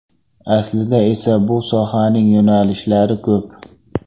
Aslida esa bu sohaning yo‘nalishlari ko‘p.